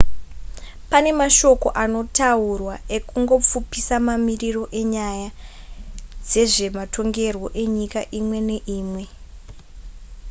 pane mashoko anotaurwa ekungopfupisa mamiriro enyaya dzezvematongerwo enyika imwe neimwe